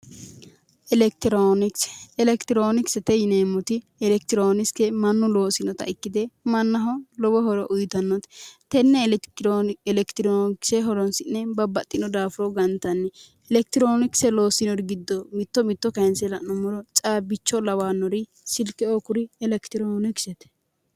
elekitiroonikise elekitiroonikisete yineemmoti elekitiroonikise mannu loosinota ikkitanna lowo horo uyitannote tenne elekitiroonikise horoonsi'ne babbaxxino daafuro gantanni elekitiroonikisete yinanniri giddo mitto mitto la'niro caabbicho lawannori silke lawinori elekitiroonikisete.